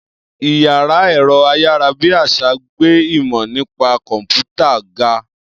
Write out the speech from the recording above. Iyàrá èro ayarabiasa gbé ìmọ nípa kọmputa ga